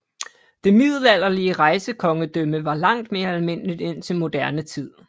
Det middelalderlige rejsekongedømme var langt mere almindelig indtil moderne tid